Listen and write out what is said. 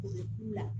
U bɛ kulɔn